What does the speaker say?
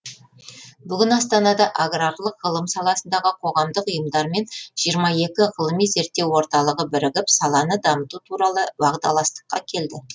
бүгін астанада аграрлық ғылым саласындағы қоғамдық ұйымдар мен жиырма екі ғылыми зерттеу орталығы бірігіп саланы дамыту туралы уағдаластыққа келді